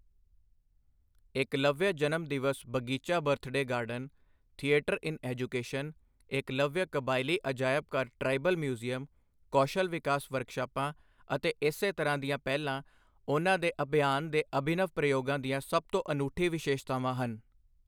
ਏਕਲਵਯ ਜਨਮ ਦਿਵਸ ਬਗੀਚਾ birthday garden, theatre in education, Eklavya ਕਬਾਇਲੀ ਅਜਾਇਬ ਘਰ ਟ੍ਰਾਈਬਲ ਮਿਊਜ਼ਿਅਮ, ਕੌਸ਼ਲ ਵਿਕਾਸ ਵਰਕਸ਼ਾਪਾਂ ਅਤੇ ਇਸੇ ਤਰ੍ਹਾਂ ਦੀਆਂ ਪਹਿਲਾਂ, ਉਨ੍ਹਾਂ ਦੇ ਅਭਿਆਨ ਦੇ ਅਭਿਨਵ ਪ੍ਰਯੋਗਾਂ ਦੀਆਂ ਸਭ ਤੋਂ ਅਨੂਠੀ ਵਿਸ਼ੇਸ਼ਤਾਵਾਂ ਹਨ।